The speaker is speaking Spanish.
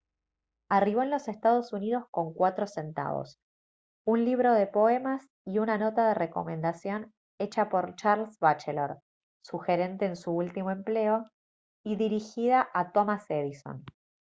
arribó en los ee. uu. con 4 centavos un libro de poemas y una nota de recomendación hecha por charles batchelor su gerente en su último empleo y dirigida a thomas edison